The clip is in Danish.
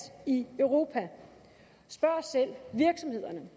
i europa spørg selv virksomhederne